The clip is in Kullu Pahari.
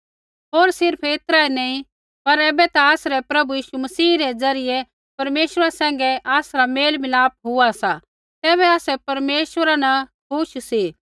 होर सिर्फ़ ऐतरा ऐ नी पर ऐबै ता आसरै प्रभु यीशु मसीह रै ज़रियै परमेश्वरा सैंघै आसरा मेलमिलाप हुआ सा तैबै आसै परमेश्वरा न खुश सी